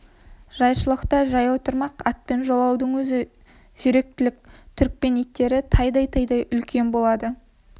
жайшылықта жаяу тұрмақ атпен жолаудың өзі жүректілік түрікпен иттері тайдай-тайдай үлкен болады